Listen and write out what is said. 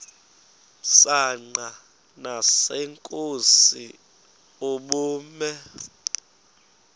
msanqa nasenkosini ubume